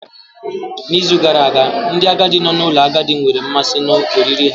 N'izu gara aga, ndị agadi nọ n'ụlọ ndị agadi nwere mmasị na oriri ha.